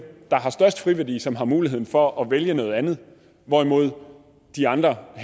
der har størst friværdi som har mulighed for at vælge noget andet hvorimod de andre og